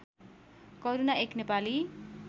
करूणा एक नेपाली